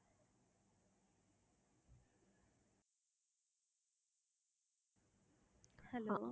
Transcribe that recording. hello